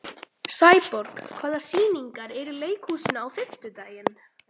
Sæborg, hvaða sýningar eru í leikhúsinu á fimmtudaginn?